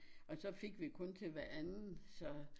Og så fik vi kun til hver anden så